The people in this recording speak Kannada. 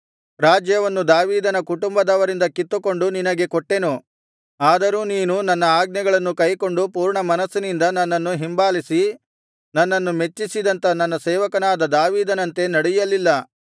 ರಾಜ್ಯವನ್ನು ದಾವೀದನ ಕುಟುಂಬದವರಿಂದ ಕಿತ್ತುಕೊಂಡು ನಿನಗೆ ಕೊಟ್ಟೆನು ಆದರೂ ನೀನು ನನ್ನ ಆಜ್ಞೆಗಳನ್ನು ಕೈಕೊಂಡು ಪೂರ್ಣ ಮನಸ್ಸಿನಿಂದ ನನ್ನನ್ನು ಹಿಂಬಾಲಿಸಿ ನನ್ನನ್ನು ಮೆಚ್ಚಿಸಿದಂಥ ನನ್ನ ಸೇವಕನಾದ ದಾವೀದನಂತೆ ನಡೆಯಲಿಲ್ಲ